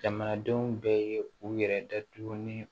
Jamanadenw bɛɛ ye u yɛrɛ datugu ni